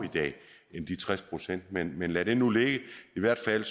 end de tres procent men men lad det nu ligge i hvert fald